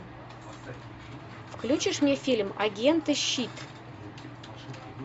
включишь мне фильм агенты щит